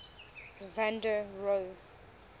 van der rohe